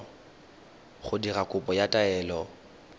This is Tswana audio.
go dira kopo ya taelo